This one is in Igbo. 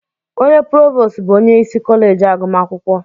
Onye provos bụ onye isi kọleji agụmakwụkwọ.